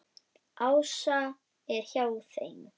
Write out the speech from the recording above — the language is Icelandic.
Ása er hjá þeim.